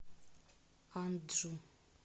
анджу